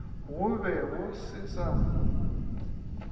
go be go se sa